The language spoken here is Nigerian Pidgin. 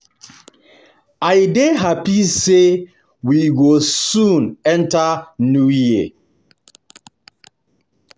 I dey happy say we go soon enter new year